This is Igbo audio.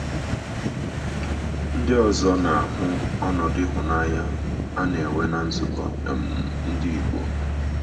Ndị ọzọ na - ahụ ọnọdụ ịhụnanya a na - enwe ná nzukọ um Ndị Igbo.